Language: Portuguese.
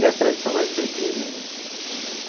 E as tradicionais briguinhas né.